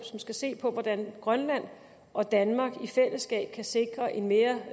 som skal se på hvordan grønland og danmark i fællesskab kan sikre en mere